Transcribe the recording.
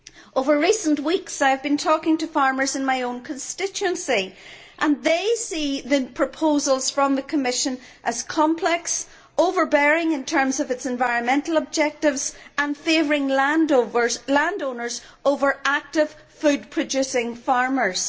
Over recent weeks I have been talking to farmers in my own constituency and they see the proposals from the Commission as complex, overbearing in terms of environmental objectives and favouring landowners over active food producing farmers.